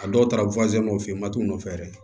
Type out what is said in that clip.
A dɔw taara nɔfɛ mat'u nɔfɛ dɛ